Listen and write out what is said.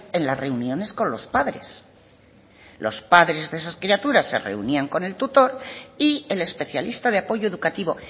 en las reuniones con los padres los padres de esas criaturas se reunían con el tutor y el especialista de apoyo educativo